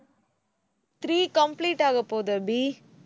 three complete ஆகப்போகுது அபி